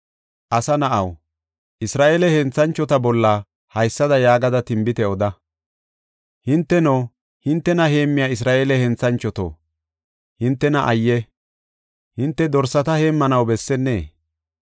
“Asa na7aw, Isra7eele henthanchota bolla haysada yaagada tinbite oda: hinteno, hintena heemmiya Isra7eele henthanchoto, hintena ayye! Hinte dorsata heemmanaw bessennee?